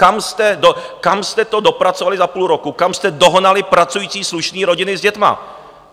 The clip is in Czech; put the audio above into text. Kam jste to dopracovali za půl roku, kam jste dohnali pracující slušné rodiny s dětmi!